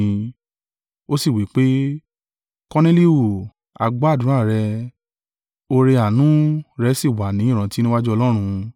Ó sì wí pé, ‘Korneliu, a gbọ́ àdúrà rẹ, ọrẹ-àánú rẹ̀ sì wà ni ìrántí níwájú Ọlọ́run.